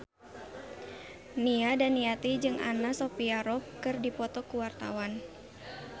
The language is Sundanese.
Nia Daniati jeung Anna Sophia Robb keur dipoto ku wartawan